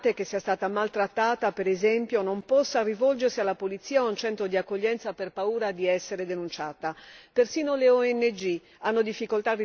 Ritengo inaccettabile che una donna migrante, che sia stata maltrattata, per esempio non possa rivolgersi alla polizia o a un centro di accoglienza per paura di essere denunciata.